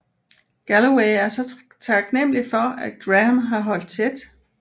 Galloway er så taknemmelig for at Graham har holdt tæt